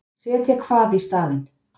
Setja hvað í staðinn?